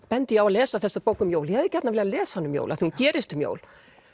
bendi ég á að lesa þessa bók um jól ég hefði gjarnan viljað lesa hana um jól af því hún gerist um jól